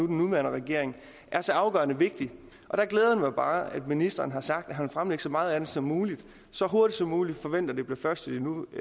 den nuværende regering er så afgørende vigtig og der glæder det mig bare at ministeren har sagt at han vil fremlægge så meget af det som muligt så hurtigt som muligt og forventer at det bliver først